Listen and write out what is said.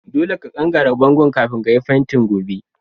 Dolle ka ƙanƙare bongon'kafin ka yi fentin gobe.